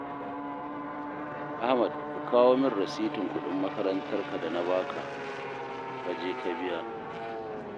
Ahmad ka kawo min rasitin kuɗin makarantarka da na ba ka, ka je ka biya